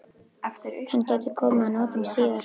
Hann gæti komið að notum síðar.